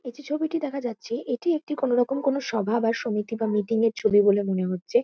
এই যে ছবিটি দেখা যাচ্ছে এটি একটি কোনোরকম কোনো সভা বা সমিতি বা মিটিং -এর ছবি বলে মনে হচ্ছে।